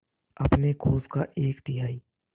अपने कोष का एक तिहाई